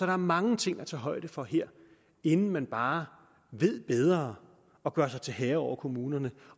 er mange ting at tage højde for her inden man bare ved bedre og gør sig til herre over kommunerne